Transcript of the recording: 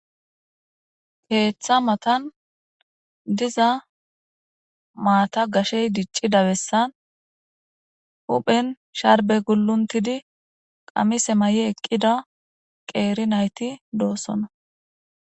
keeththa matan diza maata gashey diccida bessan huphen sharbe gulluntidi qamise may7e eqqida qeeri nayti doossona